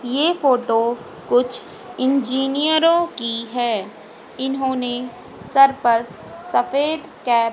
ये फोटो कुछ इंजीनियरों की है इन्होंने सर पर सफेद कैप --